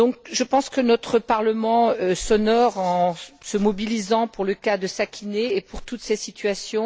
Je pense que notre Parlement s'honore en se mobilisant pour le cas de Sakineh et pour toutes ces situations.